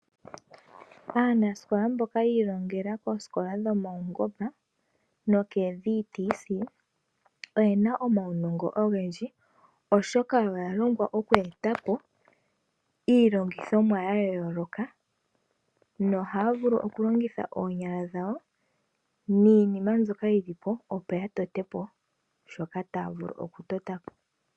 Aanasikola mboka yi ilongela koosikola dhomaungomba, nokoo (VTC) oyena omaunongo ogendji oshoka oya longwa okweetapo, iilongithomwa ya yooloka, nohaa vulu oku longitha onyala dhawo niima mbyoka yi lipo opo ya vule oku tota po shoka ta ya vulu oku totapo.